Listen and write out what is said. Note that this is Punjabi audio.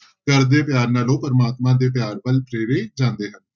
ਘਰਦੇ ਪਿਆਰ ਨਾਲ ਉਹ ਪ੍ਰਮਾਤਮਾ ਦੇ ਪਿਆਰ ਵੱਲ ਪ੍ਰੇਰੇ ਜਾਂਦੇ ਹਨ।